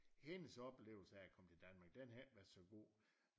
Hendes oplevelse af at komme til Danmark den havde ikke været så god